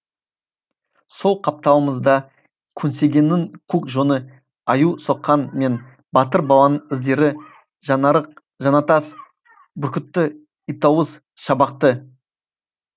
сол қапталымызда көсегенің көк жоны аю соққан мен батыр баланың іздері жаңарық жаңатас бүркітті итауыз шабақты